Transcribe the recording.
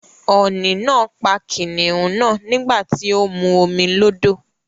Ọ̀ni náà pa kìnìún náà nígbà tí ó ń mu omi lódò.